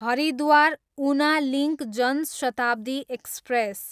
Haridwar, Una link Janshatabdi express